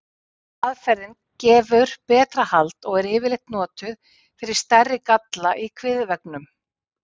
Seinni aðferðin gefur betra hald og er yfirleitt notuð fyrir stærri galla í kviðveggnum.